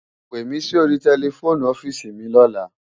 Pémi si óri tèlèfóni ofisi mi lòlá